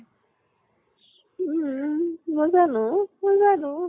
উম মই জানো । মই জানো ।